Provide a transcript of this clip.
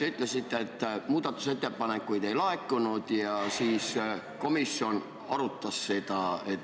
Te ütlesite, et muudatusettepanekuid ei laekunud ja siis komisjon arutas seda.